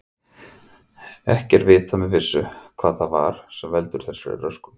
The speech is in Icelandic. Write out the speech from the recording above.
Ekki er vitað með vissu hvað það er sem veldur þessari röskun.